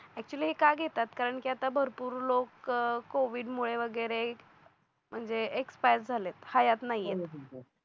actually हे का घेतात कारण की आता भरपूर लोक कोविड मुळे वगैर म्हणजे एक्सपायर झालेत हयात नाहीये